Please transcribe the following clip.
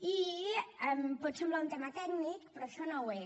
i pot semblar un tema tècnic però això no ho és